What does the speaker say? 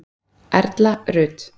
Erla Rut.